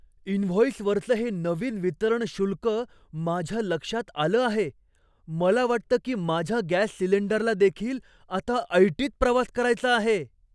इनव्हॉईसवरचं हे नवीन वितरण शुल्क माझ्या लक्षात आलं आहे. मला वाटतं की माझ्या गॅस सिलिंडरला देखील आता ऐटीत प्रवास करायचा आहे!